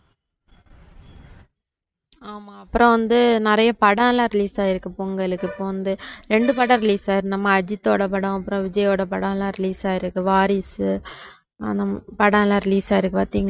ஆமாம். அப்புறம் வந்து நிறைய படலாம் release ஆயிருக்கு பொங்கலுக்கு இப்ப வந்து ரெண்டு படம் release ஆயிருக்கு நம்ம அஜித்தோட படம் அப்புறம் விஜயோட படலாம் release ஆயிருக்கு வாரிசு அந்த படலாம் release ஆயிருக்கு பாத்தீங்களா